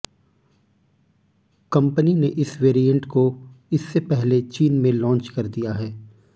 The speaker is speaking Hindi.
कंपनी ने इस वेरिएंट को इससे पहले चीन में लॉन्च कर दिया है